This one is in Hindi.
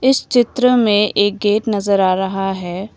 इस चित्र में एक गेट नजर आ रहा है।